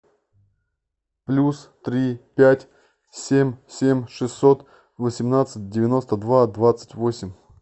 плюс три пять семь семь шестьсот восемнадцать девяносто два двадцать восемь